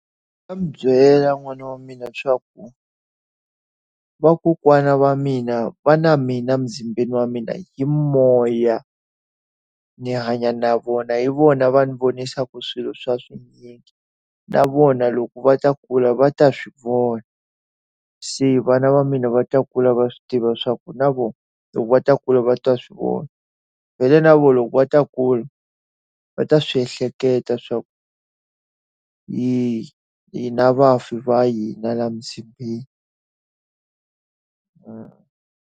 Ndzi nga n'wi byela n'wana wa mina leswaku vakokwana va mina va na mina emzimbeni wa mina hi moya. Ni hanya na vona, hi vona va ni vonisaka swilo swa na vona loko va ta kula va ta swi vona. Se vana va mina va ta kula va swi tiva leswaku na vona loko va ta kula va twa swi vona. vhele na vona loko va ta a kula, va ta swi ehleketa leswaku hi na vafi va hina laha emzimbeni .